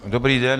Dobrý den.